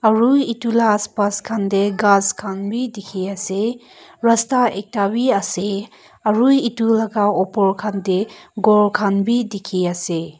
aru etu la aas paas khan de ghas khan b dikhi ase rasta ekta b ase aru etu la opor khan de ghor khan b dikhi ase.